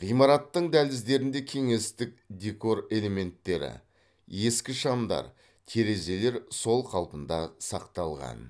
ғимараттың дәліздерінде кеңестік декор элементтері ескі шамдар терезелер сол қалпында сақталған